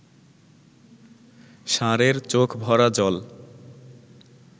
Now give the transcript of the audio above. ষাঁড়ের চোখ ভরা জল